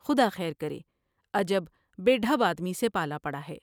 خدا خیر کرے۔ عجب بے ڈھب آدمی سے پالا پڑا ہے ۔